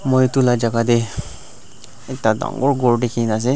moi edu la jaka tae ekta dangor ghor dikhinaase.